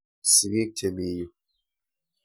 Sigik che mi yu.